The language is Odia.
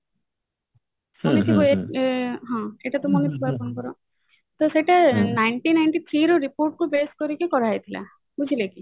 ତ ସେଇଟା nineteen ninety three ର report କୁ base କରିକି କରା ହେଇଥିଲା ବୁଝିଲେ କି